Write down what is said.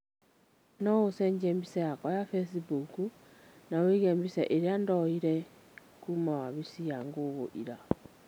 no ũcenjie mbica yakwa ya facebook na ũige mbica ĩrĩa ndoire kuuma wabisi ya google ira